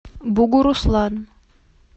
бугуруслан